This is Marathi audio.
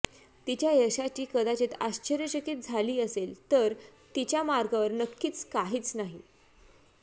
तिच्या यशाची कदाचित आश्चर्यचकित झाली असेल तर तिच्या मार्गावर नक्कीच काहीच नाही